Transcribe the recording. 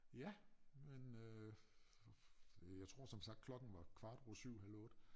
Ja men øh jeg tror som sagt klokken var kvart over 7 halv 8